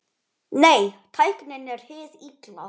Nei, tæknin er hið illa.